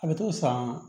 A bɛ t'o san